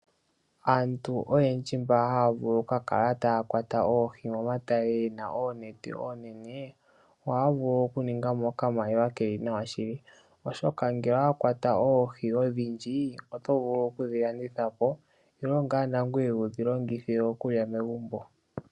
Aantu oyendji mboka haya kwata oohi momatale gena oonete oonene, ohaya vulu oku ningamo okamaliwa keli nawa shili, oshoka ngele owa kwata oohi odhindji oto vulu okudhi landithapo nenge wudhi longithe okulya megumbo.